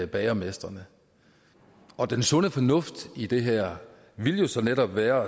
bagermestrene den sunde fornuft i det her ville jo så netop være